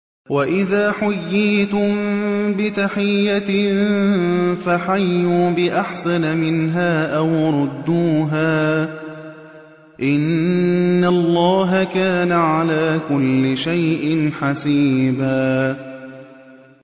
وَإِذَا حُيِّيتُم بِتَحِيَّةٍ فَحَيُّوا بِأَحْسَنَ مِنْهَا أَوْ رُدُّوهَا ۗ إِنَّ اللَّهَ كَانَ عَلَىٰ كُلِّ شَيْءٍ حَسِيبًا